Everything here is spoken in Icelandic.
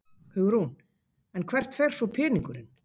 Hugrún: En hvert fer svo peningurinn?